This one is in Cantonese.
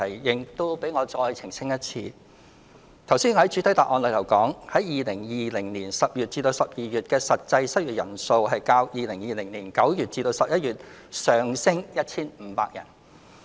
讓我再一次澄清，我剛才在主體答覆說 ，2020 年10月至12月的失業人數較2020年9月至11月上升 1,500 人。